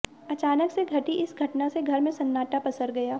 अचानक से घटी इस घटना से घर में सन्नाटा पसर गया